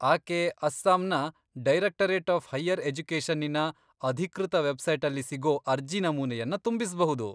ಆಕೆ ಅಸ್ಸಾಂನ directorate of higher ಎಜುಕೇಷನ್ನಿನ ಅಧಿಕೃತ ವೆಬ್ಸೈಟಲ್ಲಿ ಸಿಗೋ ಅರ್ಜಿ ನಮೂನೆಯನ್ನ ತುಂಬಿಸ್ಬಹುದು.